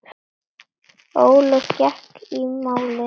Ólöf gekk í málið.